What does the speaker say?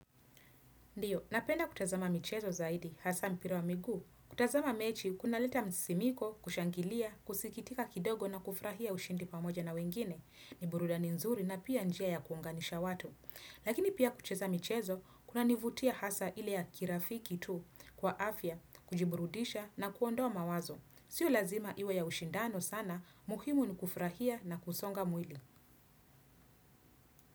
Ndio, napenda kutazama michezo zaidi, hasa mpira wa miguu. Kutazama mechi kunaleta msisimko, kushangilia, kusikitika kidogo na kushangilia ushindi na wengine. Ni burudani nzuri na pia njia ya kuunganisha watu. Lakini pia kucheza michezo, kunanivutia hasa ile ya kirafiki tu kwa afya, kujiburudisha na kuondoa mawazo. Sio lazima iwe ya ushindano sana, muhimu ni kufurahia na kusonga mwili.